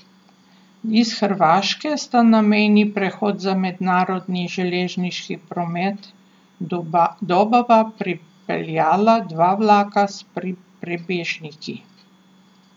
Iz Hrvaške sta na mejni prehod za mednarodni železniški promet Dobova pripeljala dva vlaka s prebežniki.